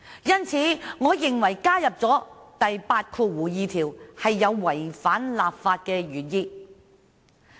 因此，我認為加入第82條，會違反立法的原意。